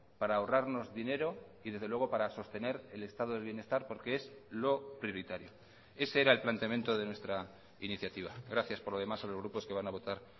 para ahorrarnos dinero y desde luego para sostener el estado del bienestar porque es lo prioritario ese era el planteamiento de nuestra iniciativa gracias por lo demás a los grupos que van a votar